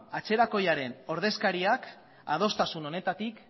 atzerakoiaren ordezkariak adostasun honetatik